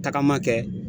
Tagama kɛ